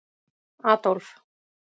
Adólf